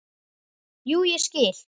Jú, ég skil.